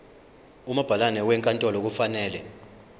umabhalane wenkantolo kufanele